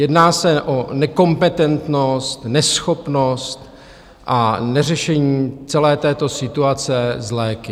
Jedná se o nekompetentnost, neschopnost a neřešení celé této situace s léky.